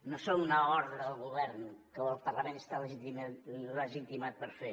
no són una ordre al govern que el parlament està legitimat per fer